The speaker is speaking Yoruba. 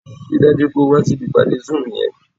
Rí i dájú pé o wá síbi ìpàdé zoom yẹn!